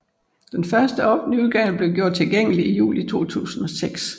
Den første offentlige udgave blev gjort tilgængelig i juli 2006